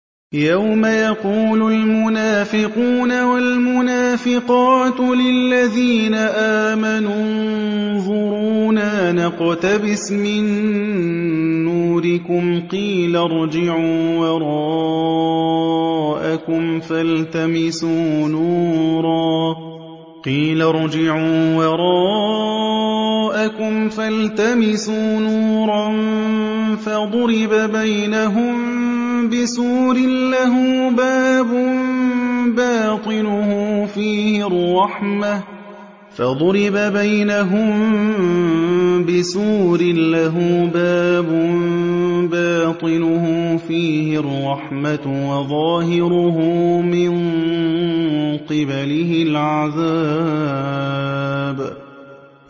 يَوْمَ يَقُولُ الْمُنَافِقُونَ وَالْمُنَافِقَاتُ لِلَّذِينَ آمَنُوا انظُرُونَا نَقْتَبِسْ مِن نُّورِكُمْ قِيلَ ارْجِعُوا وَرَاءَكُمْ فَالْتَمِسُوا نُورًا فَضُرِبَ بَيْنَهُم بِسُورٍ لَّهُ بَابٌ بَاطِنُهُ فِيهِ الرَّحْمَةُ وَظَاهِرُهُ مِن قِبَلِهِ الْعَذَابُ